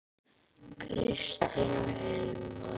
Kristín og Hilmar.